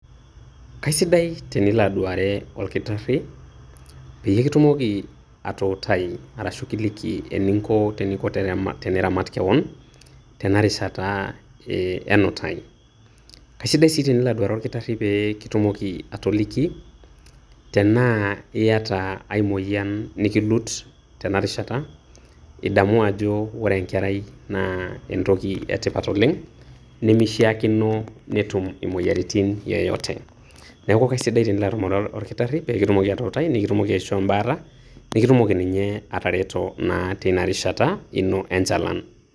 Kaisidai tenilo aduare olkitarri, peyie kitumoki atuutai arashu kiliki eningo teniramat kewon tenarishata eeh enutai. Kaisidai sii tenilo aduare olkitarri pee kitumoki atoliki tenaa iyata ai moyian nikilut tenarishata, idamu ajo ore enkerai naa entoki etipat oleng' nemeishiakino netum imoyiaritin yoyote. Neeku kaisidai tenilo atumore olkitarri peekitumoki atuutai nikitumoki aishoo embaata, nikitumoki ninye atareto naa teina rishata ino enchalan.